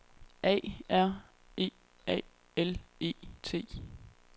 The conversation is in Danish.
A R E A L E T